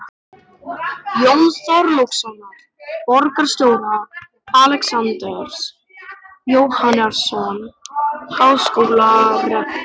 Jóns Þorlákssonar borgarstjóra, Alexanders Jóhannessonar háskólarektors